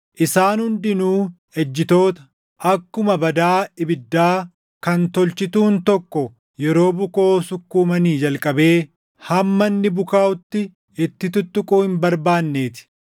Isaan hundinuu ejjitoota, akkuma badaa ibiddaa kan tolchituun tokko yeroo bukoo sukkuumanii jalqabee hamma inni bukaaʼutti itti tuttuquu hin barbaannee ti.